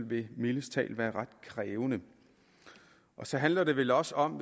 vil mildest talt være ret krævende så handler det vel også om